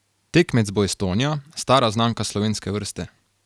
Tekmec bo Estonija, stara znanka slovenske vrste.